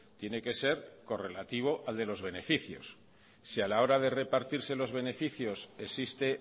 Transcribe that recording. tiene que ser correlativo al de los beneficios si a la hora de repartirse los beneficios existe